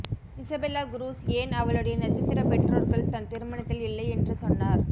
Isabella Cruz ஏன் அவளுடைய நட்சத்திர பெற்றோர்கள் தன் திருமணத்தில் இல்லை என்று சொன்னார்